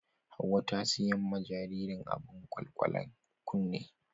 Hauwa ta siyan ma jaririn ta abun kwalkwale kunne.